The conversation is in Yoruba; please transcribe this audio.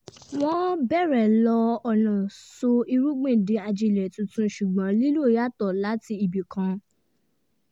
wọ́n bẹ̀rẹ̀ lo ọ̀nà sọ irúgbìn di ajílẹ̀ tuntun ṣùgbọ́n lílo yàtọ̀ láti ibì kan